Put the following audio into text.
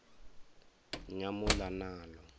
nyamuḽanalo